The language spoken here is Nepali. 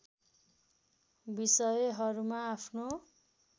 विषयहरूमा आफ्नो